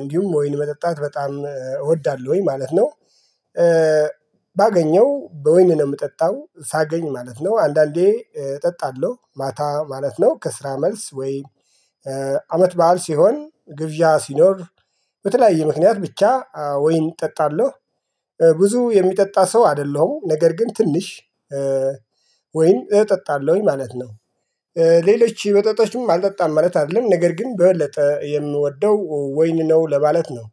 እንዲሁም ወይን መጠጣት በጣም እወዳለሁኝ ማለት ነው። ባገኘው በወይን ነው የምጠጣው ሳገኝ ማለት ነው። አንዳንዴ እጠጣለሁ ማታ ማለት ነው። ከስራ መልስ ወይ አመት በዓል ሲሆን ግብዣ ሲኖር በተለያየ ምክንያት ብቻ ወይን እጠጣለሁ። ብዙ የሚጠጣ ሰው አይደለሁም ነገር ግን ትንሽ ወይም እጠጣለሁኝ ማለት ነው። ሌሎች መጠጣችም አልጠጣም ማለት አይደለም ነገር ግን በበለጠ የምወደው ወይን ነው ለማለት ነው።